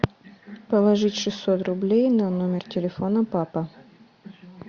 положить шестьсот рублей на номер телефона папа